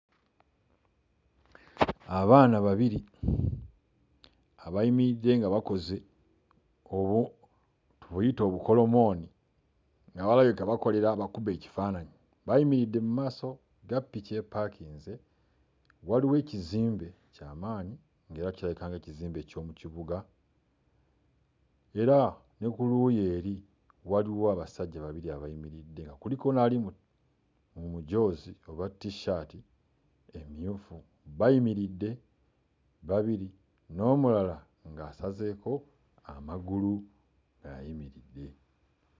Abaana babiri abayimiridde nga bakoze obu buyite obukolomooni nabo balabika bakolerera abakube ekifaananyi, bayimiridde mu maaso ga ppiki epaakinze. Waliwo ekzimbe kya maanyi era kirabika nga ekizimbe eky'omu kibuga era ne ku luuyi eri waliwo abasajja babiri abayimiridde kuliko n'ali mu mujoozi oba t-shirt, bayimiridde babiri n'omulala asazeeko amagulu ng'ayimiridde.